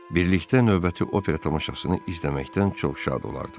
Birlikdə növbəti opera tamaşasını izləməkdən çox şad olardım.